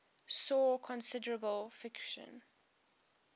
saw considerable friction